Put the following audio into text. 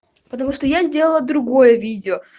потому что я сделала другое видео